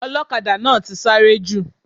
Ọlọ́kadà náà ti sáré jù.